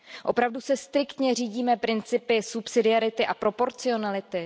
Opravdu se striktně řídíme principy subsidiarity a proporcionality?